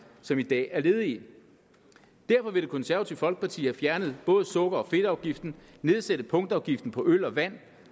som i dag er ledige derfor vil det konservative folkeparti have fjernet både sukker og fedtafgiften og nedsætte punktafgiften på øl og vand